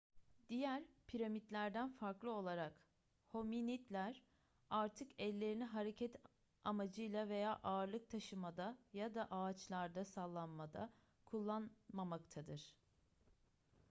diğer primatlardan farklı olarak hominidler artık ellerini hareket amacıyla veya ağırlık taşımada ya da ağaçlarda sallanmada kullanmamaktadır